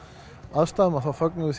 aðstæðum að þá fögnum